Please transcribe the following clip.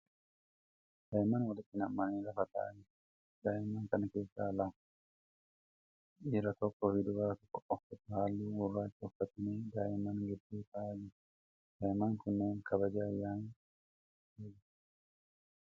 Daa'imman walitti nammanii lafa ta'aa jiraniidha. Daa'imman kana keessaa lama, dhiira tokko fi durbi tokko uffata halluu gurraacha uffatanii daa'imman gidduu ta'aa jiru. Daa'imman kunneen kabaja ayyaana wayii geggeessaa jiru.